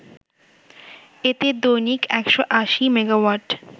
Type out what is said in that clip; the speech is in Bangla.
এতে দৈনিক ১৮০ মেগাওয়াট